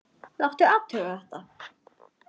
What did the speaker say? Láta athuga þetta.